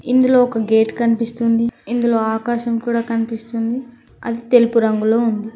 ఇందులో ఒక గేట్ కనిపిస్తుంది ఇందులో ఆకాశం కూడా కనిపిస్తుంది అది తెలుపు రంగులో ఉంది.